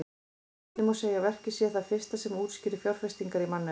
Einnig má segja að verkið sé það fyrsta sem útskýrir fjárfestingar í mannauði.